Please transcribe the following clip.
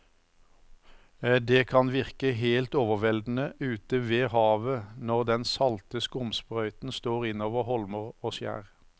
Det kan virke helt overveldende ute ved havet når den salte skumsprøyten slår innover holmer og skjær.